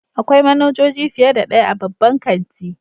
Akwai manajoji fiye da ɗaya a babban kanti.